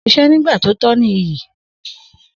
Si sẹ nígbà tọ ní ìyí